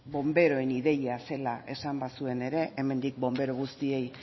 bonberoen idea zela esan bazuen ere hemendik bonbero guztiei